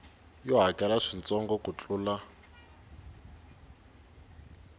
yo hakela swintsongo ku tlula